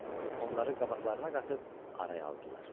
Onları qabaqlarına qatıb araya aldılar.